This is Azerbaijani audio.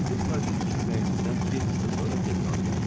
Bizim Parisə köçürülməyimizdən bir həftə sonra general gəldi.